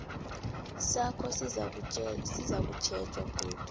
sakho sizakutjhejwa godu